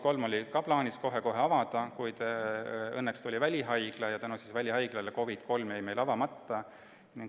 Ka see oli plaanis kohe-kohe avada, kuid õnneks tuli välihaigla ja tänu sellele jäi COVID III avamata.